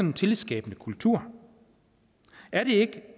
en tillidsskabende kultur er det ikke